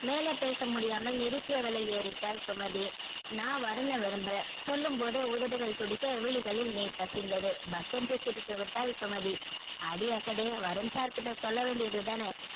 மேலே பேச முடியாமல ஏறிட்டாள் சுமதி நா வருண விரும்புற சொல்லும் போதே உதடுகள் துடிக்க விழிகளில் நீர் கசிந்தது பக் என்று சிரித்து விட்டால் சுமதி அடியே அசடே வருண் sir கிட்ட சொல்ல வேண்டி தான